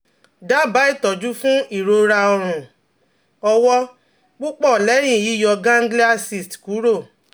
Daba itọju fun irora ọrun-ọwọ pupọ lẹhin yiyọ ganglia cyst kuro